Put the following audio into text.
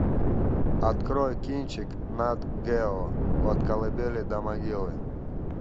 открой кинчик нат гео от колыбели до могилы